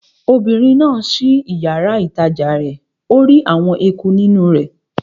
Obìnrin náà ṣí yàrá-ìtajà rẹ̀ ó rí àwọn eku nínú rẹ̀